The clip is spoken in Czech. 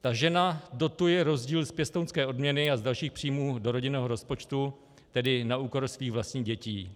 Ta žena dotuje rozdíl z pěstounské odměny a z dalších příjmů do rodinného rozpočtu, tedy na úkor svých vlastních dětí.